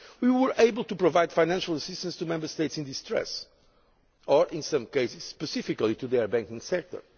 We were able to provide financial assistance to Member States in distress, or in some cases specifically to their banking sector.